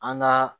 An ka